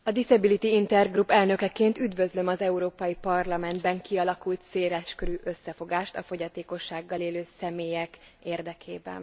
A Disability Intergroup elnökeként üdvözlöm az Európai Parlamentben kialakult széleskörű összefogást a fogyatékossággal élő személyek érdekében.